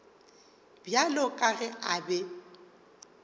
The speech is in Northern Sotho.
bjalo ka ge a be